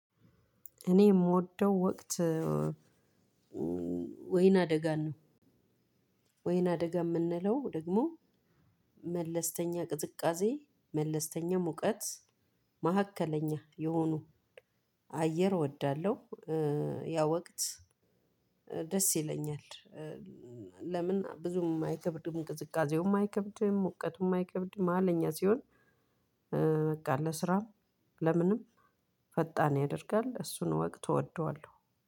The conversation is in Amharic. እኔ የምወደው ወቅት ወይን አደጋን ነው። ወይን አደጋ የምንለው ደግሞ መለስተኛ ቅዝቃዜ መለስተኛ ሙቀት መካከለኛ የሆኑ አየር እወዳለሁ። ያ ወቅት ደስ ይለኛል። ለምን ብዙም አይከብድም ቅዝቃዜውም አይከብድም ሙቀቱም አይከብድም መሃለኛ ሲሆን በቃ ለስራም ለምንም ፈጣን ያደርጋል እሱን ወቅት እወደዋለሁ።